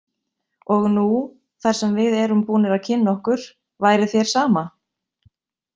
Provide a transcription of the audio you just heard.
Og nú, þar sem við erum búnir að kynna okkur, væri þér sama?